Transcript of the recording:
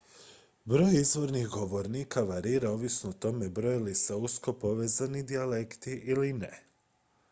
broj izvornih govornika varira ovisno o tome broje li se usko povezani dijalekti ili ne